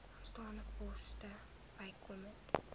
aantal poste bykomend